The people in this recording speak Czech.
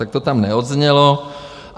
Tak to tam neodznělo.